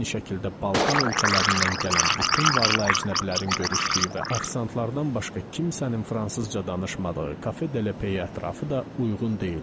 Eyni şəkildə Balkan ölkələrindən gələn bütün varlı əcnəbilərin görüşdüyü və ofisantlardan başqa kimsənin fransızca danışmadığı Kafe De Le Pey ətrafı da uyğun deyildi.